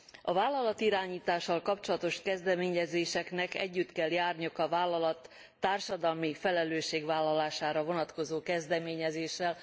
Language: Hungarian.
A vállalatirányítással kapcsolatos kezdeményezéseknek együtt kell járniuk a vállalat társadalmi felelősségvállalására vonatkozó kezdeményezéssel.